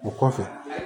O kɔfɛ